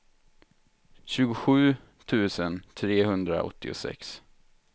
tjugosju tusen trehundraåttiosex